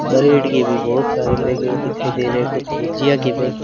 bread के भी बहोत सारे पैकेट दिखाई दे रहे हैं कुछ भुजिया के पैकेट --